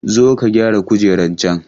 Zo ka gyara kujeran can!